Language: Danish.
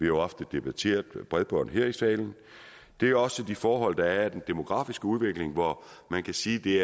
jo ofte debatteret bredbånd her i salen det er også de forhold der er i den demografiske udvikling hvor man kan sige at det